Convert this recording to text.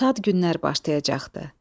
Şad günlər başlayacaqdı.